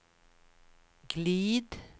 glid